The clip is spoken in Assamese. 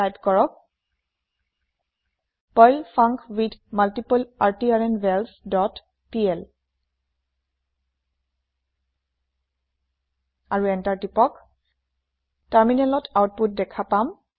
টাইপ কৰক পাৰ্ল ফাংকুইথমাল্টিপ্লাৰট্ৰ্নভালছ ডট পিএল আৰু এন্টাৰ প্ৰেছ কৰক টাৰমিনেলত আওতপুত দেখা পাম